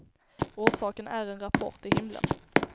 Orsaken är en rapport till himlen.